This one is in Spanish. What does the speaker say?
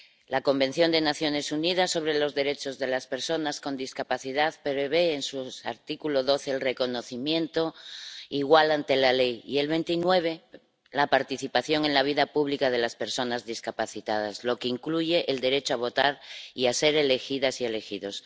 La Convención de las Naciones Unidas sobre los derechos de las personas con discapacidad prevé, en su artículo 12, el reconocimiento igual ante la ley y, en el 29, la participación en la vida pública de las personas discapacitadas, lo que incluye el derecho a votar y a ser elegidas y elegidos.